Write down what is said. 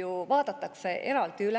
ju vaadatakse eraldi üle.